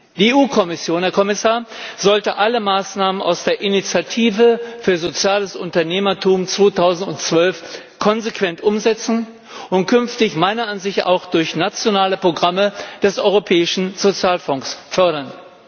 Die EU Kommission, Herr Kommissar, sollte alle Maßnahmen aus der Initiative für soziales Unternehmertum 2012 konsequent umsetzen und künftig meiner Ansicht nach auch durch nationale Programme des Europäischen Sozialfonds fördern.